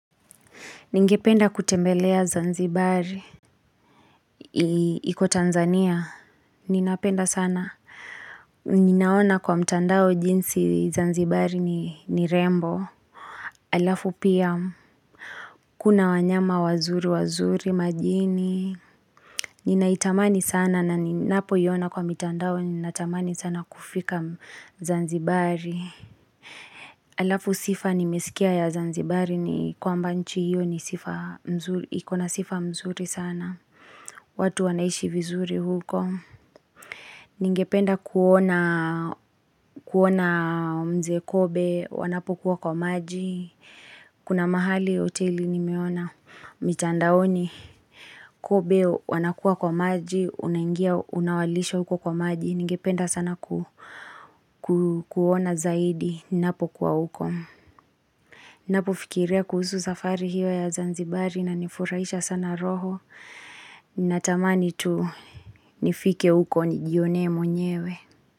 Ningependa kutembelea zanzibari. Iko Tanzania. Ninapenda sana. Ninaona kwa mtandao jinsi zanzibari ni rembo. Alafu pia kuna wanyama wazuri wazuri majini. Ninaitamani sana na ninapoiona kwa mtandao ninatamani sana kufika zanzibari. Alafu sifa nimesikia ya zanzibari ni kwa nchi hiyo ni sifa mzuri ikona sifa mzuri sana. Watu wanaishi vizuri huko, ningependa kuona mzee Kobe wanapokuwa kwa maji, kuna mahali hoteli nimeona, mchandaoni Kobe wanakuwa kwa maji, unangia unawalisha huko kwa maji, ningependa sana kuona zaidi, ninapo kuwa huko. Na pufikirea kuhuzu zafari hiyo ya Zanzibari na nifurahisha sana roho Natamani tu nifike uko nigione mwenyewe.